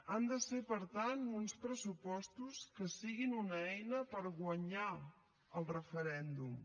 han de ser per tant uns pressupostos que siguin una eina per guanyar el referèndum